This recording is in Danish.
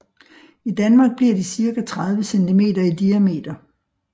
I Danmark bliver de cirka 30 centimeter i diameter